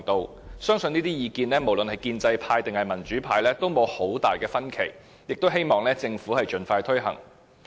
我相信不論是建制派或民主派，對於這些意見也應該沒有太大分歧，希望政府可以盡快推行。